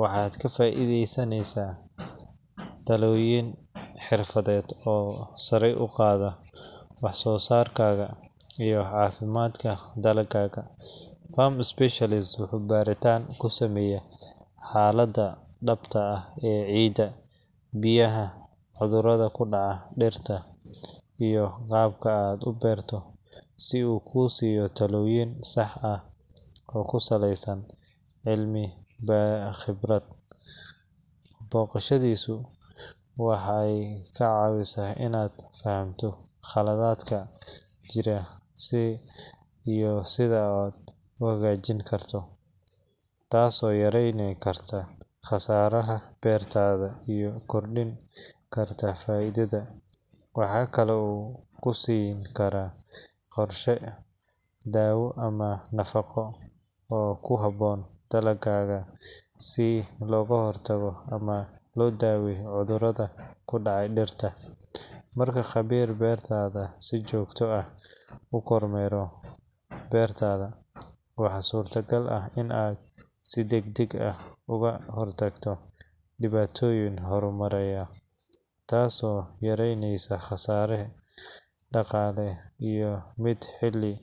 waxaad ka faa’iidaysanaysaa talooyin xirfadeed oo sare u qaadaya wax-soo-saarkaaga iyo caafimaadka dalaggaaga. Farm specialist wuxuu baaritaan ku sameeyaa xaaladda dhabta ah ee ciidda, biyaha, cudurrada ku dhaca dhirta, iyo qaabka aad u beerto si uu kuu siiyo talooyin sax ah oo ku saleysan cilmi iyo khibrad. Booqashadiisu waxay kaa caawisaa inaad fahanto khaladaadka jira iyo sida loo hagaajin karo, taasoo yareyn karta khasaaraha beertaada iyo kordhin karta faa’iidada. Waxaa kale oo uu ku siiin karaa qorshe daawo ama nafaqo oo ku habboon dalaggaaga si looga hortago ama loo daaweeyo cudurrada ku dhaca dhirta. Marka khabiir beereed si joogto ah u kormeero beertaada, waxaa suuragal ah in aad si degdeg ah uga hortagto dhibaatooyin horumaraya, taasoo yaraynaysa khasaare dhaqaale iyo mid xilli.